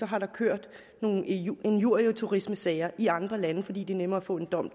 har kørt nogle injurieturismesager i andre lande fordi det er nemmere at få en dom